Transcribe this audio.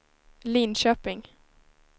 Linköping